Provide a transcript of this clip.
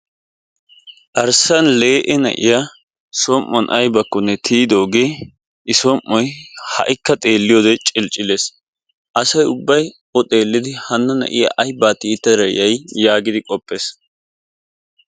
Arssa lee'e na'iya som'uwan aybakkonne tiyidogee i som'oy ha'ikka xeliyode cilcilees. Asay ubbay o xeelidi hana na'iya aybaa tiyetada yay yaagidi qoppees.